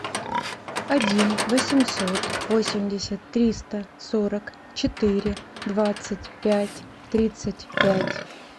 один восемьсот восемьдесят триста сорок четыре двадцать пять тридцать пять